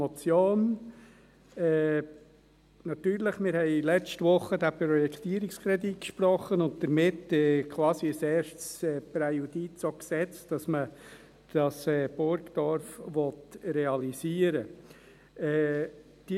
Natürlich, wir haben letzte Woche diesen Projektierungskredit gesprochen und damit auch quasi ein erstes Präjudiz gesetzt, dass man dieses Burgdorf realisieren will.